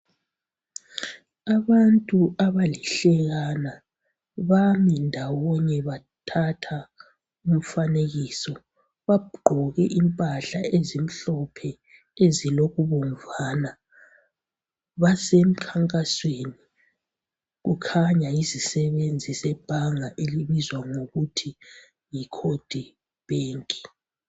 Abantu abalihlekana bami ndawonye bathatha umfanekiso, bagqoke impahla ezimhlophe ezilokubomvana, basemkhankasweni kukhanya yizisebenzi zebhanga elibizwa ngokuthi yiCoge Bank.